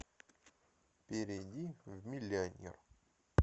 перейди в миллионер